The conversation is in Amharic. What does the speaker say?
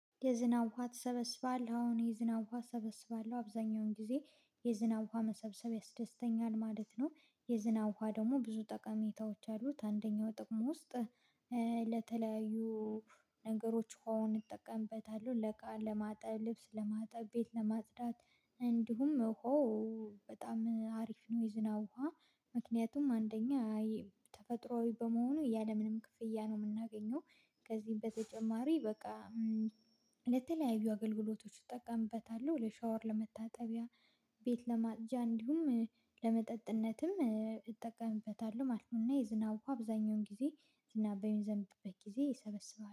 የዝናብ ውሃ ትሰበስባለህ? አዎ የዝናብ ውሃ እሰበስባለሁ አብዛኛውን ጊዜ የዝናብ ውሃ መሰብሰብ ያስደስተኛል ማለት ነው። የዝናው ውሃ ደግሞ ብዙ ጠቀሜታዎች አሉት። አንደኛው ጥቅሙ ውስጥ ለተለያዩ ነገሮች ሆኖ ይጠቀምበታል። ለቃ ለማጠብ ልብስ ለማጠብ ቤት ለማጽዳት እንዲሁም ሆ በጣም አሪፍ ነው። የዝናው ውሃ ምክንያቱም አንደኛ ተፈጥሮአዊ በመሆኑ ያለምንም ክፍያ ነው የምናገኘው። ከዚህም በተጨማሪ በቃ ለተለያዩ አገልግሎቶች እጠቀምበታለሁ ለሻወር ለመታጠቢያ ቤት ለማፅጃ እንዲሁም ለመጠጥነትም እጠቀምበታለሁ ማለት ነው። የዝናው አብዛኛውን ጊዜ ዝናብኝ ዘንድበት ጊዜ ሰበስባለሁ